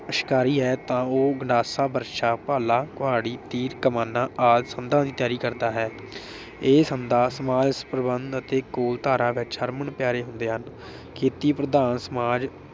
ਸ਼ਿਕਾਰੀ ਹੈ ਤਾਂ ਉਹ ਗੰਡਾਸਾ, ਬਰਸ਼ਾ, ਭਾਲਾ, ਕੁਹਾੜੀ, ਤੀਰ ਕਮਾਨਾਂ ਆਦਿ ਸੰਦਾਂ ਦੀ ਤਿਆਰੀ ਕਰਦਾ ਹੈ। ਇਹ ਸੰਦਾਂ ਸਮਾਜ ਪ੍ਰਬੰਧ ਅਤੇ ਵਿਚ ਹਰਮਨ ਪਿਆਰੇ ਹੁੰਦੇ ਹਨ। ਖੇਤੀ ਪ੍ਰਧਾਨ ਸਮਾਜ